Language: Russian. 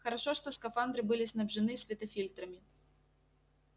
хорошо что скафандры были снабжены светофильтрами